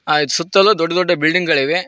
ಆ ಇದ್ ಸುತ್ತಲು ದೊಡ್ಡ ದೊಡ್ಡ ಬಿಲ್ಡಿಂಗ್ ಗಳಿವೆ.